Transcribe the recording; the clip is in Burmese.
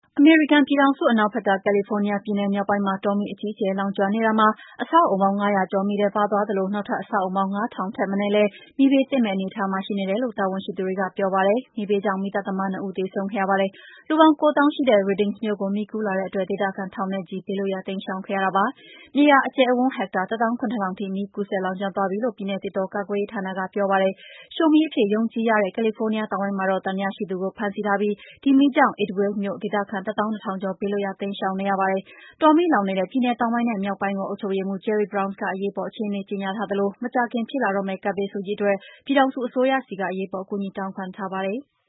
အမေရိကန်ပြည်ထောင်စု အနောက်ဘက်က ကယ်လီဖိုးနီးယားပြည်နယ် မြောက် ပိုင်းမှာ တောမီး အကြီးအကျယ် လောင်ကျွမ်းနေရာမှာ အဆောက် အအုံပေါင်း ၅၀၀ ကျော်မီးထဲပါသွားသလို နောက်ထပ် အဆောက်အအုံပေါင်း ၅ ထောင်ထက် မနည်းလည်း မီးဘေးသင့်မယ့်အနေအထားမှာ ရှိနေတယ်လု့ိ တာဝန် ရှိသူတွေက ပြောပါတယ်။ မီးဘေးကြောင့် မီးသတ်သမား ၂ ဦးသေဆုံးခဲ့ရပါတယ်။ လူပေါင်း ၉ သောင်းရှိတဲ့ Redding မြို့ကို မီးကူးလာတဲ့ အတွက် ဒေသခံ ထောင်နဲ့ချီ ဘေးလွှတ်ရာ တိမ်း ရှောင်ခဲ့ရပါတယ်။ မြေယာအကျယ်အဝန်း ဟက်တာ ၁ သောင်း ၇ ထောင်ထိ မီးကူးစက် လောင် ကျွမ်းသွားပြီလို့ ပြည်နယ် သစ်တော ကာကွယ်ရေးဌာနက ပြောပါတယ်။ ရှို့မီး အဖြစ်ယုံကြည်ရတဲ့ ကယ်လီဖိုးနီးယားတောင်ပိုင်းမှာတော့ သံသယရှိသူကို ဖမ်းဆီးထားပြီး ဒီမီးကြောင့် Idyllwild မြို့ဒေသခံ ၁ သောင်း ၂ ထောင်ကျော် ဘေးလွတ်ရာ တိမ်းရှောင်နေရပါတယ်။ တောမီးလောင်နေတဲ့ ပြည်နယ်တောင်ပိုင်းနဲ့ မြောက်ပိုင်းကို အုပ်ချုပ်ရေးမှူး Jerry Brown က အရေးပေါ် အခြေ အနေ ကြေငြာထားသလို မကြာခင်ဖြစ်လာတော့ မယ့် ကပ်ဘေးဆိုးကြီးအတွက် ပြည်ထောင်စုအစိုးရဆီက အရေးပေါ် အကူအညီ လည်း တောင်းခံထားပါတယ်။